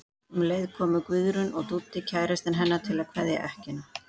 Um leið komu Guðrún og Dúddi kærastinn hennar til að kveðja ekkjuna.